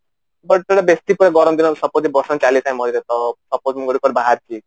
but ବେସୀ ଗରମ ଦିନ ବର୍ଷା ଦିନ ଚାଲିଥାଏ ମଝିରେ ତ suppose ମୁଁ କୁଆଡେ ବାହାରିଚି